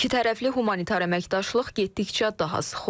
İki tərəfli humanitar əməkdaşlıq getdikcə daha sıx olur.